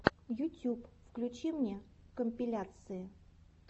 ютюб включи мне компиляции